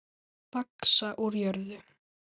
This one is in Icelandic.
Vaxa úr jörðu.